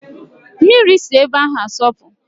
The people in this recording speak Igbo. Mmiri si ebe ahụ asọpụ